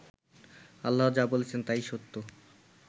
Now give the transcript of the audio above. আল্লাহ যা বলেছেন তাই সত্য